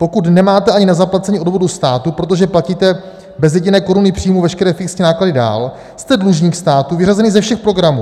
Pokud nemáte ani na zaplacení odvodů státu, protože platíte bez jediné koruny příjmů veškeré fixní náklady dál, jste dlužník státu vyřazený ze všech programů.